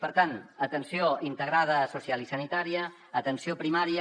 per tant atenció integrada social i sanitària atenció primària